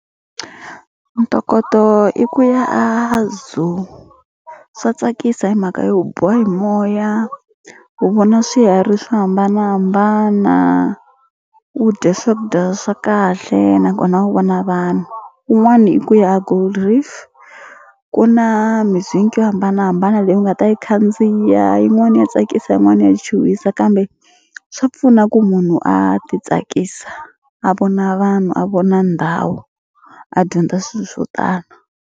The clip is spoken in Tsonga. Ntokoto i ku ya a Zoo swa tsakisa hi mhaka yo u biwa hi moya u vona swiharhi swo hambanahambana u dya swakudya swa kahle nakona u vona vanhu un'wani i ku ya a Gold Reef ku na yo hambanahambana leyi u nga ta yi khandziya yin'wani ya tsakisa yin'wana ya chuhisa kambe swa pfuna ku munhu a ti tsakisa a vona vanhu a vona ndhawu a dyondza swilo swo tala.